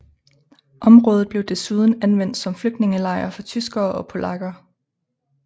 Området blev desuden anvendt som flygtningelejr for tyskere og polakker